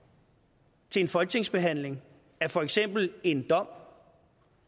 til en folketingsbehandling af for eksempel en dom